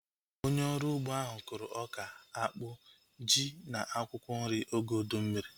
Onye ọrụ ugbo ahu kụrụ ọka, akpụ, ji na akwụkwọ nri oge ụdị mmiri